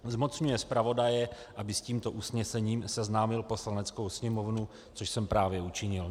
Zmocňuje zpravodaje, aby s tímto usnesením seznámil Poslaneckou sněmovnu, což jsem právě učinil.